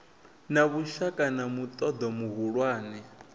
na vhushaka na muṱoḓo muhulwane